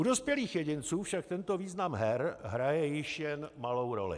U dospělých jedinců však tento význam her hraje již jen malou roli.